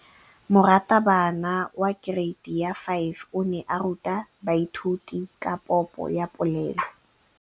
Moratabana wa kereiti ya 5 o ne a ruta baithuti ka popô ya polelô.